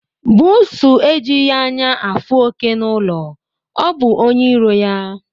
Buusu ejihi anya ya afụ oke n'ụlọ. ọ bụ onye iro ya